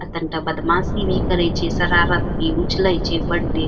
अ तनी त बदमाशी भी करय छे शरारत भी उछलय छे बड़ी |